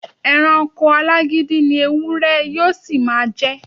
E̩ranko alágídí ni ewúré̩ yóó sì máa je̩.